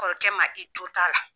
Kɔrɔkɛ ma i jo t'a la